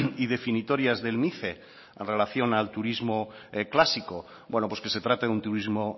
y definitorias del mice en relación al turismo clásico bueno pues que se trate de un turismo